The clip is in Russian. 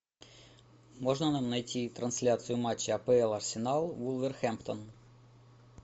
можно нам найти трансляцию матча апл арсенал вулверхэмптон